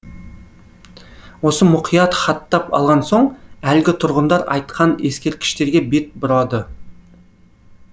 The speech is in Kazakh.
оны мұқият хаттап алған соң әлгі тұрғындар айтқан ескерткіштерге бет бұрады